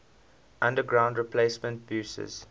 underground replacement buses